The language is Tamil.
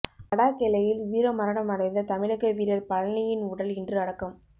லடாக் எல்லையில் வீரமரணமடைந்த தமிழக வீரர் பழனியின் உடல் இன்று அடக்கம்